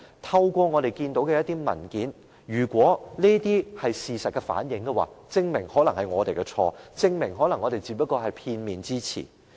透過我們看到的文件，當中反映的事實可能證明是我們有錯，證明我們只是片面之詞。